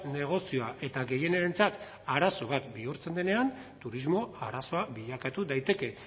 negozioa eta gehienentzat arazo bat bihurtzen denean turismo arazoa bilakatu daiteke